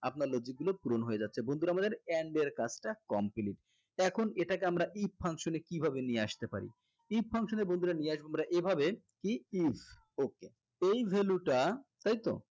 আপনার logic গুলো পূরণ হয়ে যাচ্ছে বন্ধুরা আমাদের and এর কাজটা complete এখন এটাকে আমরা if function এ কিভাবে নিয়ে আসতে পারি if function এ বন্ধুরা নিয়ে আসবো আমরা এভাবে okay এই value টা তাই তো